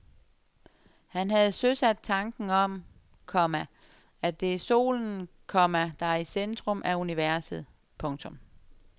Han havde søsat tanken om, komma at det er solen, komma der er i centrum af universet. punktum